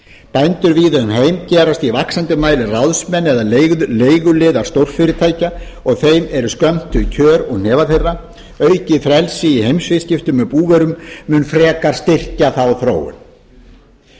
bændur víða um heim gerast í vaxandi mæli ráðsmenn eða leiguliðar stórfyrirtækja og þeim eru skömmtuð kjör úr hnefa þeirra aukið frelsi í viðskiptum með búvörur mun styrkja þá þróun ég vek